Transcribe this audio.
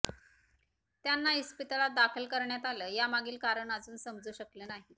त्यांना इस्पितळात दाखल का करण्यात आलं यामागील कारण अजून समजू शकलं नाही